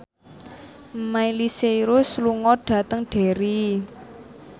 Miley Cyrus lunga dhateng Derry